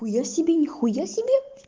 хуя себе нихуя себе